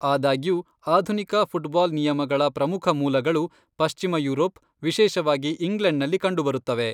ಆದಾಗ್ಯೂ, ಆಧುನಿಕ ಫುಟ್ಬಾಲ್ ನಿಯಮಗಳ ಪ್ರಮುಖ ಮೂಲಗಳು ಪಶ್ಚಿಮ ಯುರೋಪ್, ವಿಶೇಷವಾಗಿ ಇಂಗ್ಲೆಂಡ್ನಲ್ಲಿ ಕಂಡುಬರುತ್ತವೆ.